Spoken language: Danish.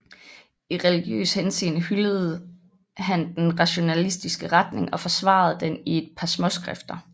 I religiøs henseende hyldede han den rationalistiske retning og forsvarede den i et par småskrifter